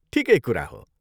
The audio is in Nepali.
ठिकै कुरा हो।